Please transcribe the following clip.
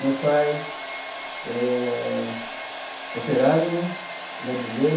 Meu pai eh, operário, né, ladrilheiro.